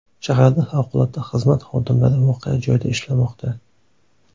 Shaharning favqulodda xizmati xodimlari voqea joyida ishlamoqda.